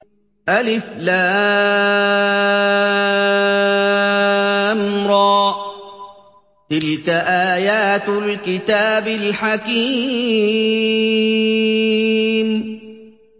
الر ۚ تِلْكَ آيَاتُ الْكِتَابِ الْحَكِيمِ